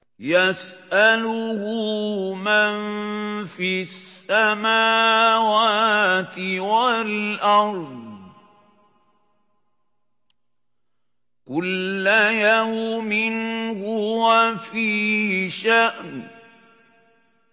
يَسْأَلُهُ مَن فِي السَّمَاوَاتِ وَالْأَرْضِ ۚ كُلَّ يَوْمٍ هُوَ فِي شَأْنٍ